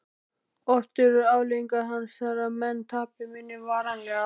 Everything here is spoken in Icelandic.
Oft eru afleiðingar hans þær að menn tapa minni varanlega.